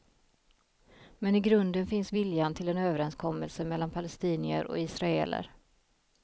Men i grunden finns viljan till en överenskommelse mellan palestinier och israeler.